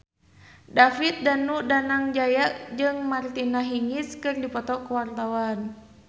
David Danu Danangjaya jeung Martina Hingis keur dipoto ku wartawan